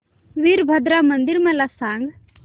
वीरभद्रा मंदिर मला सांग